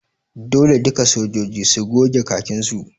Dole duka sojoji su goge khakin su!